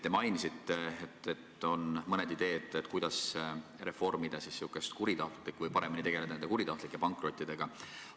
Te mainisite, et on mõned ideed, kuidas paremini nende kuritahtlike pankrottidega tegeleda.